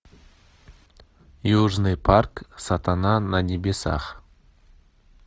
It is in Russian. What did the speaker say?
южный парк сатана на небесах